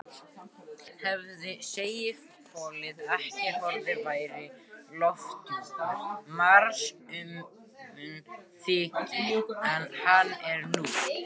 Hefði segulhvolfið ekki horfið væri lofthjúpur Mars mun þykkari en hann er nú.